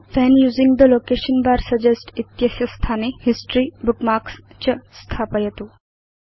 when using the location bar suggest इत्यस्य स्थाने history Bookmarksच स्थापयतु